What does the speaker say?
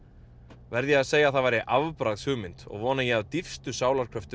verð ég að segja að það væri og vona ég af dýpstu sálarkröftum